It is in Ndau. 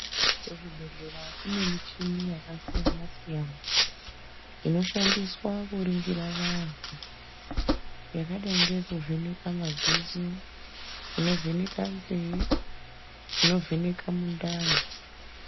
Kuzvibhedhlera kune michini yakasiyana-siyana inoshandiswa kuringira vantu, yakadai ngeyekuvheneka madziso, inovheka nzee, inovheneka mundani.